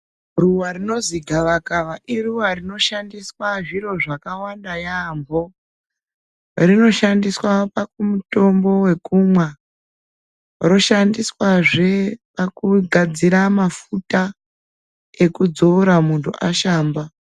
Ruwa rinozi gavakava, iruwarinoshsndiswa zviro zvakawanda yaampho. Rinoshandiswa pakumutombo yekumwa, roshandiswazve pakugadzira mafuta, ekudzora munhu asahamba.